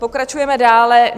Pokračujeme dále.